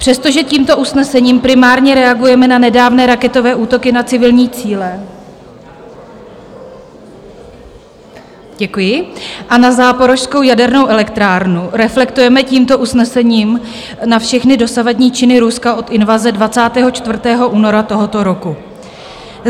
Přestože tímto usnesením primárně reagujeme na nedávné raketové útoky na civilní cíle, a na Záporožskou jadernou elektrárnu, reflektujeme tímto usnesením na všechny dosavadní činy Ruska od invaze 24. února tohoto roku.